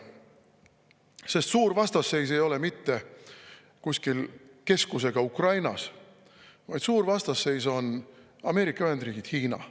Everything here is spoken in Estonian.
Sest suur vastasseis ei ole mitte kuskil keskusega Ukrainas, vaid suur vastasseis on Ameerika Ühendriigid – Hiina.